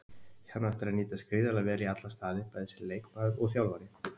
Hann á eftir að nýtast gríðarlega vel í alla staði, bæði sem leikmaður og þjálfari.